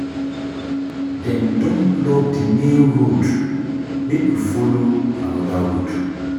Dem don block di main road make we folo anoda road.